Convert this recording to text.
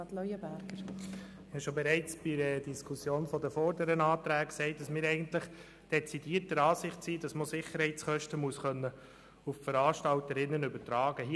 Ich habe bereits bei der Diskussion über die vorangehenden Anträge gesagt, wir seien dezidiert der Ansicht, dass man Sicherheitskosten auf die Veranstalterinnen und Veranstalter übertragen können muss.